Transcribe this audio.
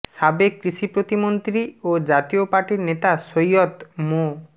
সাবেক কৃষি প্রতিমন্ত্রী ও জাতীয় পার্টির নেতা সৈয়দ মো